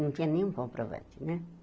Não tinha nenhum comprovante, né?